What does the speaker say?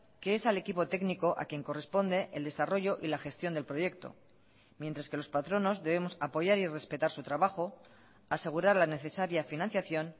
que es al equipo técnico a quien corresponde el desarrollo y la gestión del proyecto mientras que los patronos debemos apoyar y respetar su trabajo asegurar la necesaria financiación